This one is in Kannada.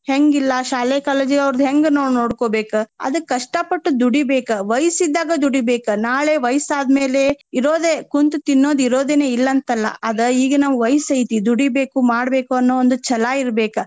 ಹೆಂಗ್ ಇಲ್ಲ ಶಾಲೆ college ಅವರ್ದ ಹೆಂಗ್ ನಾವ್ ನೋಡ್ಕೊಬೇಕ್. ಅದಕ್ ಕಷ್ಟ ಪಟ್ಟು ದುಡಿಬೇಕ ವಯ್ಸ ಇದ್ದಾಗ ದುಡಿಬೇಕ. ನಾಳೆ ವಯ್ಸ ಆದ್ಮೇಲೆ ಇರೋದೆ ಕುಂತ ತಿನ್ನೋದ್ ಇರೋದೆನೆ ಇಲ್ಲಾ ಅಂತಲ್ಲಾ. ಅದ ಈಗ ನಮ್ಗ ವಯ್ಸ ಐತಿ ದುಡಿಬೇಕು, ಮಾಡ್ಬೇಕು ಅನ್ನೋ ಒಂದ ಛಲ ಇರ್ಬೆಕ.